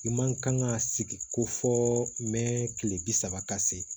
I man kan ka sigi ko fɔ mɛn kile bi saba ka se